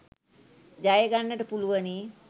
ජයගන්නට පුළුවනි